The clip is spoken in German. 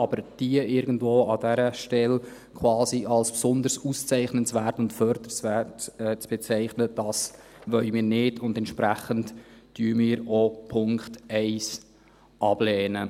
Diese aber diese irgendwo an dieser Stelle quasi als besonders auszeichnungswert und förderungswert zu bezeichnen, das wollen wir nicht, und entsprechend lehnen wir auch Punkt 1 ab.